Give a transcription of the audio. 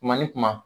Kuma ni kuma